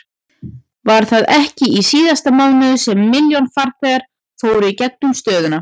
Var það ekki í síðasta mánuði sem milljón farþegar fóru í gegnum stöðina?